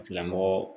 Tigilamɔgɔ